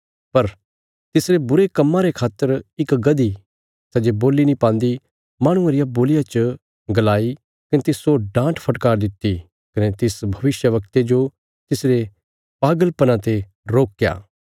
पर तिसरे बुरे कम्मां रे खातर इक गदही सै जे बोल्ली नीं पान्दी माहणुये रिया बोलिया च गलाई कने तिस्सो डान्टफटकार दित्ति कने तिस भविष्यवक्ते जो तिसरे पागल पना ते रोकया